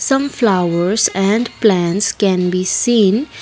some flowers and plants can be seen.